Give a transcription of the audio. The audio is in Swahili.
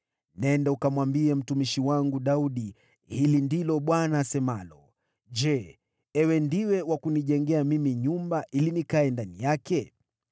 “Nenda ukamwambie mtumishi wangu Daudi, ‘Hili ndilo asemalo Bwana : Je, ewe ndiwe wa kunijengea mimi nyumba ili nikae ndani yake?